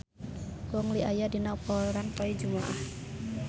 Gong Li aya dina koran poe Jumaah